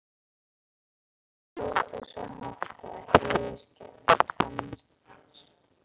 Þau hrjóta svo hátt að það heyrist gegnum tvennar dyr!